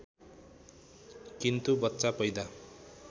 किन्तु बच्चा पैदा